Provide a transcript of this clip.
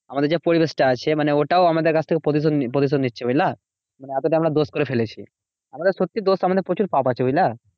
আমাদের যে পরিবেশটা আছে মানে ওটাও আমাদের কাছ থেকে প্রতিশোধ প্রতিশোধ নিচ্ছে, বুঝলা? মানে এতটা আমরা দোষ করে ফেলেছি। আমাদের সত্যি দোষ আমাদের প্রচুর পাপ আছে, বুঝলা?